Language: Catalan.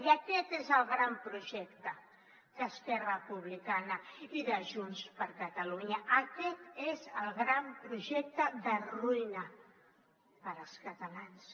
i aquest és el gran projecte d’esquerra republicana i de junts per catalunya aquest és el gran projecte de ruïna per als catalans